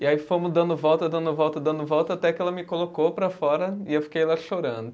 E aí fomos dando volta, dando volta, dando volta, até que ela me colocou para fora e eu fiquei lá chorando.